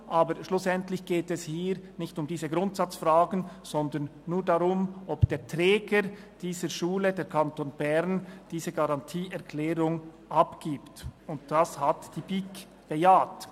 Aber schlussendlich geht es hier nicht um diese Grundsatzfragen, sondern nur darum, ob der Träger dieser Schule, der Kanton Bern, diese Garantieerklärung abgibt, und dies hat die BiK bejaht.